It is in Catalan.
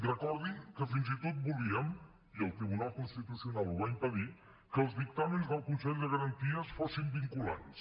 recordin que fins i tot volíem i el tribunal constitucional ho va impedir que els dictàmens del consell de garanties fossin vinculants